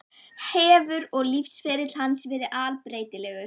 Hefur og lífsferill hans verið allbreytilegur.